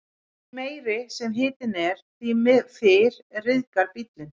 Því meiri sem hitinn er, því fyrr ryðgar bíllinn.